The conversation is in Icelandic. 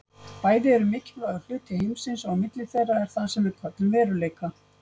Bæði eru mikilvægur hluti heimsins og á milli þeirra er það sem við köllum veruleika.